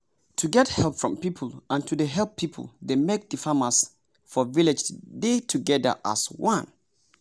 to get help from people and to dey help people dey make the farmers for village dey together as one.